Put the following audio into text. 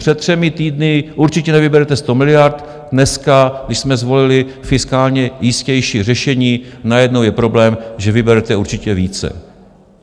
Před třemi týdny: Určitě nevyberete sto miliard, dneska, když jsme zvolili fiskálně jistější řešení, najednou je problém, že: Vyberete určitě více.